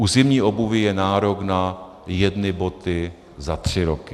U zimní obuvi je nárok na jedny boty za tři roky.